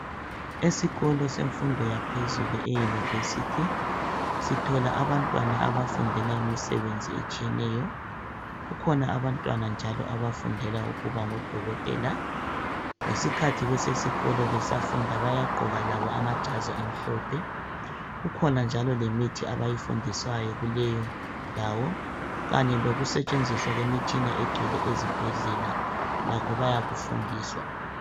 Esikolo semfundo yaphezulu euniversity .Sithola abantwana abafundela imsebenzi etshiyeneyo .Kukhona abantwana njalo abafundela ukuba ngodokotela ngesikhathi besesikolo besafunda bayagqoka labo amajazi amhlophe .Kukhona njalo lemithi abayifundiswayo kuleyondawo .Kanye lokusetshenziswa kwemitshina egcwele ezibhedlela .Lakho bayaku fundiswa .